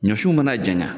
Ɲɔsun mana janya